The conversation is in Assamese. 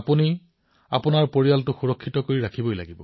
আপোনালোকে আপোনালোকৰ পৰিয়ালক সুৰক্ষিত কৰি ৰাখিব লাগিব